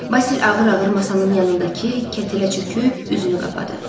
Basil ağır-ağır masanın yanındakı kətələ çöküb üzünü qapadı.